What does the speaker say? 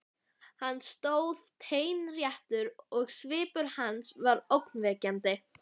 Hann stóð teinréttur og svipur hans var ógnvekjandi.